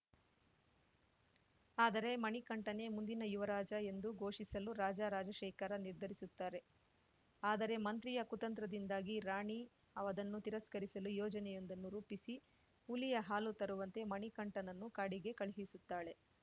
ಆದರೆ ಮಣಿಕಂಠನೇ ಮುಂದಿನ ಯುವರಾಜ ಎಂದು ಘೋಷಿಸಲು ರಾಜ ರಾಜಶೇಖರ ನಿರ್ಧರಿಸುತ್ತಾರೆ ಆದರೆ ಮಂತ್ರಿಯ ಕುತಂತ್ರದಿಂದಾಗಿ ರಾಣಿ ಅದನ್ನು ತಿರಸ್ಕರಿಸಲು ಯೋಜನೆಯೊಂದನ್ನು ರೂಪಿಸಿ ಹುಲಿಯ ಹಾಲು ತರುವಂತೆ ಮಣಿಕಂಠನನ್ನು ಕಾಡಿಗೆ ಕಳುಹಿಸುತ್ತಾಳೆ